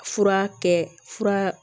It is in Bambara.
Fura kɛ fura